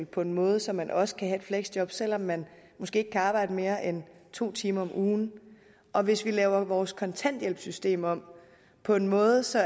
på en måde så man også kan have et fleksjob selv om man måske ikke kan arbejde mere end to timer om ugen og hvis vi laver vores kontanthjælpssystem om på en måde så